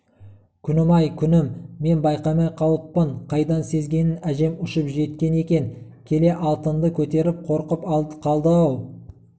күнім-ай күнім мен байқамай қалыппын қайдан сезгенін әжем ұшып жеткен екен келе алтынды көтеріп қорқып қалды-ау